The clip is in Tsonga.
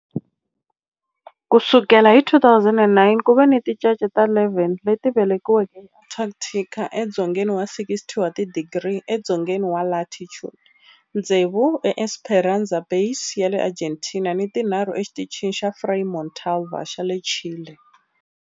Ku sukela hi 2009, ku ve ni tincece ta 11 leti velekiweke eAntarctica, edzongeni wa 60 wa tidigri edzongeni wa latitude, tsevu eEsperanza Base ya le Argentina ni tinharhu eXitichini xa Frei Montalva xa le Chile.